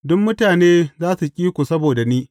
Duk mutane za su ƙi ku saboda ni.